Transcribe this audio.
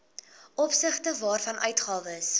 opsigte waarvan uitgawes